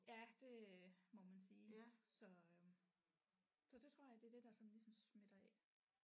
Ja det må man sige så så det tror jeg det er det der sådan ligesom smitter af